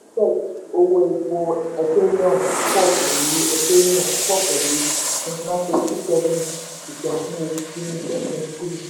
owó epo ethereum pọ̀ pẹ̀lú ethereum pọ̀ pẹ̀lú twenty nine point two seven percent ní oṣù kìíní twenty twenty three.